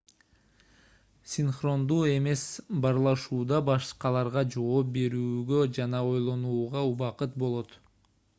синхрондуу эмес баарлашууда башкаларга жооп берүүгө жана ойлонууга убакыт болот